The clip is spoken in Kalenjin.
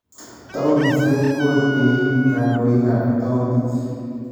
Towunisiek ko teyin kandoikab tawuniit